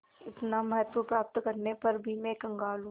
इतना महत्व प्राप्त करने पर भी मैं कंगाल हूँ